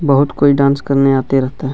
बहुत कोई डांस करने आते रहता हैं।